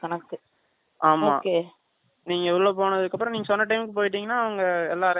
நீங்க உள்ள போனது அப்பறம் நீங்க சொன்ன time க்கு போயிட்டீங்க அவங்க எல்லாம் arrange பண்ணி கொடுத்துருவாங்க அப்ப தான் உள்ள விடுவாங்க